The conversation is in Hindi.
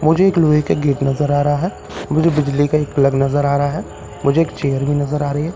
मुझे एक लोहे के गेट नजर आ रहा है मुझे बिजली का एक प्लग नजर आ रहा है मुझे एक चेयर भी नजर आ रही है।